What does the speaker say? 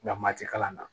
Nka mati kalan na